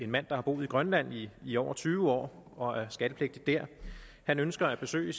mand der har boet i grønland i i over tyve år og er skattepligtig der ønsker at besøge